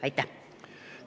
Aitäh!